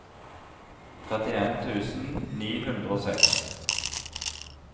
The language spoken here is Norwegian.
trettien tusen ni hundre og seks